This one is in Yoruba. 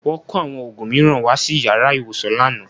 Wọ́n kó àwọn òògùn mìíràn wá sí yàrá ìwòsàn lánàá